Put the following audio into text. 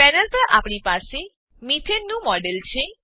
panel પર આપણી પાસે મેથાને મીથેન નું મોડેલ છે